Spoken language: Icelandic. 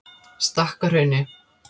Stakkahrauni